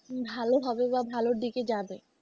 ভালো হবে বা ভালো দিকে যাবে।